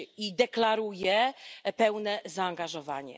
I deklaruje pełne zaangażowanie.